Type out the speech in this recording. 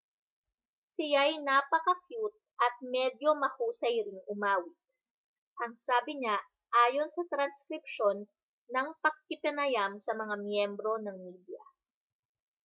siya'y napakakyut at medyo mahusay ring umawit ang sabi niya ayon sa transkripsyon ng pakikipanayam sa mga miyembro ng media